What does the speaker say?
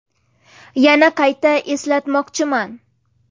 Yana qayta eslatmoqchiman.